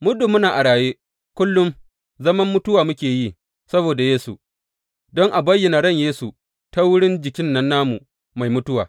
Muddin muna a raye, kullum zaman mutuwa muke yi saboda Yesu, don a bayyana ran Yesu ta wurin jikin nan namu mai mutuwa.